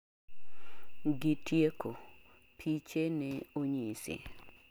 gi tieko, piche ne onyisi